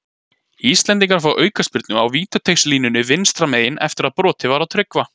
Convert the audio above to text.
Íslendingar fá aukaspyrnu á vítateigslínunni vinstra megin eftir að brotið var á Tryggva.